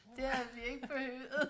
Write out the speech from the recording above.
Det havde vi ikke behøvet